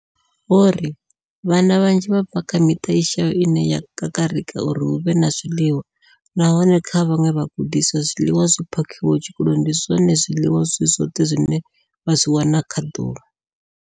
Vho ri, Vhana vhanzhi vha bva kha miṱa i shayaho ine ya kakarika uri hu vhe na zwiḽiwa, nahone kha vhaṅwe vhagudiswa, zwiḽiwa zwi phakhiwaho tshikoloni ndi zwone zwiḽiwa zwi zwoṱhe zwine vha zwi wana kha ḓuvha.